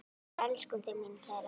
Við elskum þig, mín kæra.